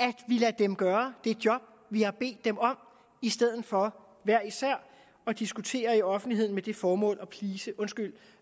at vi lader dem gøre det job vi har bedt dem om i stedet for hver især at diskutere i offentligheden med det formål at please undskyld